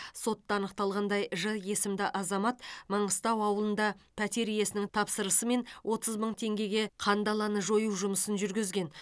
сотта анықталғандай ж есімді азамат маңғыстау ауылында пәтер иесінің тапсырысымен отыз мың теңгеге қандаланы жою жұмысын жүргізген